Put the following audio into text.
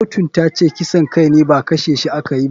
Kotun tace kisan kai ne ba kashe shi a kayi ba.